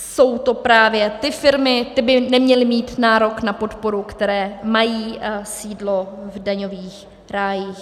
Jsou to právě ty firmy, ty by neměly mít nárok na podporu, které mají sídlo v daňových rájích.